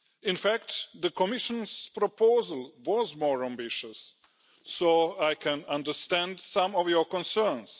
In fact, the Commission's proposal was more ambitious, so I can understand some of your concerns.